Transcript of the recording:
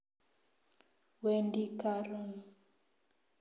Wendi karon